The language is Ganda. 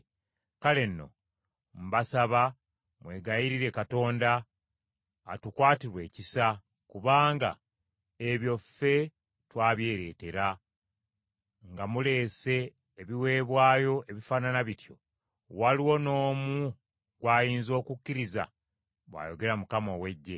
“Kale nno mbasaba mwegayirire Katonda, atukwatirwe ekisa, kubanga ebyo ffe twabyereetera. Nga muleese ebiweebwayo ebifaanana bityo, waliwo n’omu gw’ayinza okukkiriza?” bw’ayogera Mukama ow’Eggye.